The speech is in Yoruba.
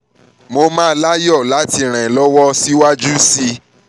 mo máa láyọ̀ máa láyọ̀ láti ràn ẹ́ lọ́wọ́ síwájú sí i